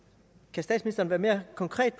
kan statsministeren være mere konkret